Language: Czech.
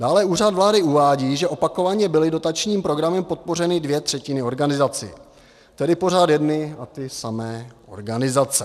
Dále Úřad vlády uvádí, že opakovaně byly dotačním programem podpořeny dvě třetiny organizací, tedy pořád jedny a ty samé organizace.